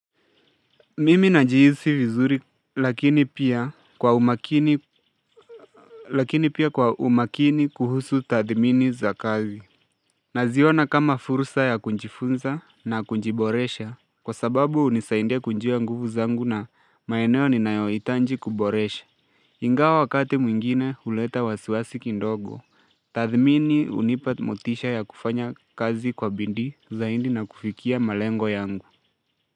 Mimi najihisi vizuri lakini pia lakini pia kwa umakini kuhusu tathmini za kazi. Naziona kama fursa ya kunjifunza na kunjiboresha kwa sababu unisaindia kunjua nguvu zangu na maeneo ni nayoitanji kuboresha. Ingawa wakati mwingine uleta wasiwasi kindogo. Tathmini unipa motisha ya kufanya kazi kwa bindi zaindi na kufikia malengo yangu.